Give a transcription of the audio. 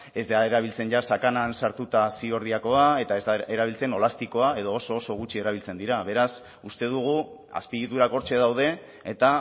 ez da erabiltzen jada sakanan sartuta ziordiakoa eta ez da erabiltzen olaztikoa edo oso oso gutxi erabiltzen dira beraz uste dugu azpiegiturak hortxe daude eta